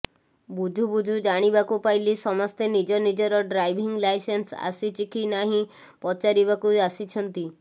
ବୁଝୁ ବୁଝୁ ଜାଣିବାକୁ ପାଇଲି ସମସ୍ତେ ନିଜ ନିଜର ଡ୍ରାଇଭିଂ ଲାଇସେନ୍ସ ଆସିଛି କି ନାହିଁ ପଚାରିବାକୁ ଆସିଛନ୍ତି